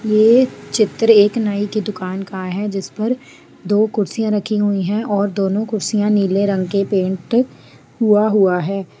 ये चित्र एक नाई के दुकान का है जिस पर दो कुर्सियां रखी हुईं है और दोनों कुर्सियां नीले रंग की पेंट हुआ -हुआ है।